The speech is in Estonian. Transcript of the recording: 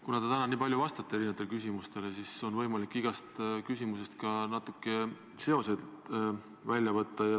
Kuna te olete täna nii palju vastanud erinevatele küsimustele, siis on võimalik igast vastusest natukene seoseid välja lugeda.